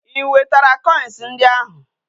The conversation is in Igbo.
I wetara koins ndi ahu?